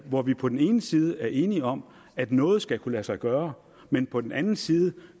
hvor vi på den ene side er enige om at noget skal kunne lade sig gøre men på den anden side